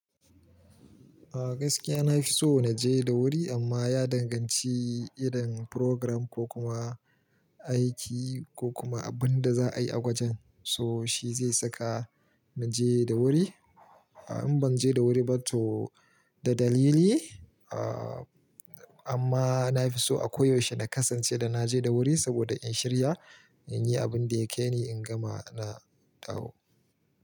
A gaskiya na fi so na je da wuri amma ya danganci idan program ko kuma aiki ko kuma abinda za a yi a gwajen so shi zai saka na je da wuri. In ban je da wuri ba to da dalili a amma na fi so a koyaushe na kasance da na je da wuri saboda in shirya, in yi abin da ya ke ni, in gama na dawo.